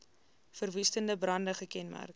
verwoestende brande gekenmerk